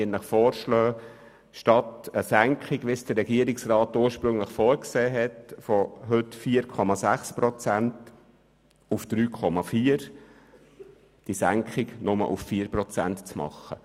Statt einer Senkung von heute 4,6 Prozent auf 3,4 Prozent, wie es der Regierungsrat ursprünglich vorgesehen hat, soll nur auf 4 Prozent gesenkt werden.